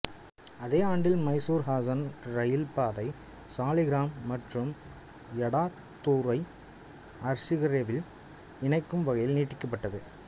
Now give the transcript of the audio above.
அதே ஆண்டில் மைசூர்ஹாசன் இரயில் பாதை சாலிகிராம் மற்றும் யடாத்தூரை அர்சிகரேவில் இணைக்கும் வகையில் நீட்டிக்கப்பட்டது